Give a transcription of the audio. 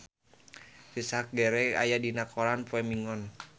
Richard Gere aya dina koran poe Minggon